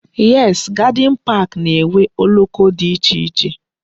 Yes, gardin pak na-enwe okoko dị iche iche